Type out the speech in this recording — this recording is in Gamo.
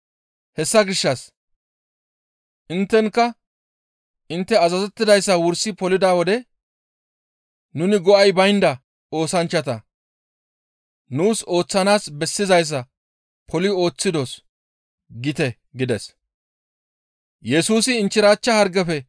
Hessa gishshas inttenikka intte azazettidayssa wursi polida wode, ‹Nuni go7ay baynda oosanchchata nuus ooththanaas bessizayssa poli ooththidos› gite» gides.